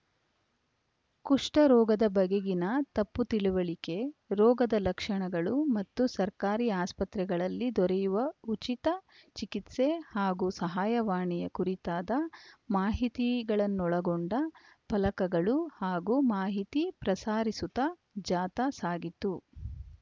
ಕುಷ್ಠರೋಗದ ಬಗೆಗಿನ ತಪ್ಪು ತಿಳಿವಳಿಕೆ ರೋಗದ ಲಕ್ಷಣಗಳು ಮತ್ತು ಸರ್ಕಾರಿ ಆಸ್ಪತ್ರೆಗಳಲ್ಲಿ ದೊರೆಯುವ ಉಚಿತ ಚಿಕಿತ್ಸೆ ಹಾಗೂ ಸಹಾಯವಾಣಿಯ ಕುರಿತಾದ ಮಾಹಿತಿಗಳನ್ನೊಳಗೊಂಡ ಫಲಕಗಳು ಹಾಗೂ ಮಾಹಿತಿ ಪ್ರಸಾರಿಸುತ್ತ ಜಾಥಾ ಸಾಗಿತು